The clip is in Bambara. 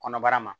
Kɔnɔbara ma